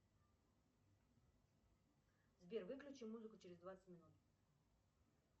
сбер выключи музыку через двадцать минут